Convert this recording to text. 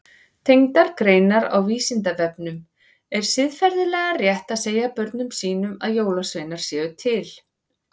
Tengdar greinar á Vísindavefnum Er siðferðilega rétt að segja börnum sínum að jólasveinar séu til?